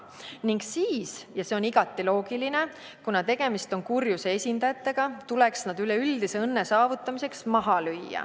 Ning siis – ja see on igati loogiline, kuna tegemist on kurjuse esindajatega – tuleks nad üleüldise õnne saavutamiseks maha lüüa.